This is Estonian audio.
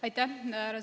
Aitäh!